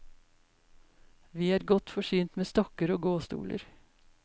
Vi er godt forsynt med stokker og gåstoler.